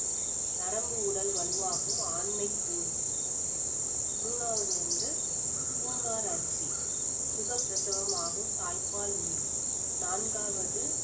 நரம்பு உடல் வலுவாகும் ஆண்மை கூடும் மூணாவது வந்து பூங்கார் அரிசி சுகப்பிரசவம் ஆகும் தாய்ப்பால் ஊரும் நாங்காவது